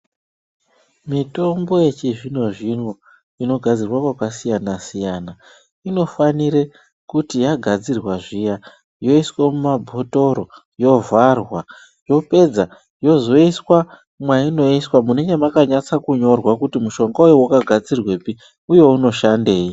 Mitombo yechizvinozvino inogadzirwa kwakasiyana siyana inofanire kuti yagadzirwa zviya yoiswe mumabotoro yovharwa yopedza yozoiswa mwayiinoiswa munenge makanyatsa kunyorwa kuti mushonga uyu wakagadzirwepi uye unoshandeyi.